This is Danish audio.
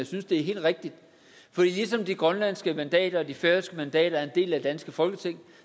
synes det er helt rigtigt for ligesom de grønlandske mandater og de færøske mandater er en del af det danske folketing